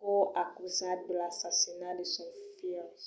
court acusat de l'assassinat de son filh